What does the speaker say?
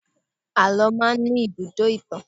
Àlọ́ máa ń ní ibùdó ìtàn.